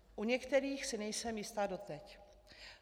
U některých si nejsem jistá doteď.